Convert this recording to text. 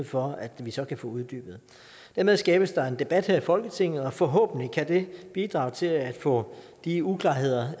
for at vi så kan få uddybet dermed skabes der en debat her i folketinget som forhåbentlig kan bidrage til at få de uklarheder